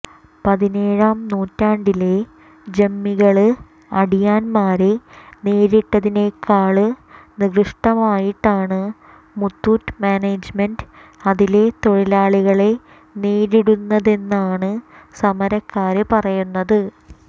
പതിനേഴാം നൂറ്റാണ്ടിലെ ജന്മികള് അടിയാന്മാരെ നേരിട്ടതിനെക്കാള് നികൃഷ്ടമായിട്ടാണ് മുത്തൂറ്റ് മാനേജ്മെന്റ് അതിലെ തൊഴിലാളികളെ നേരിടുന്നതെന്നാണ് സമരക്കാര് പറയുന്നത്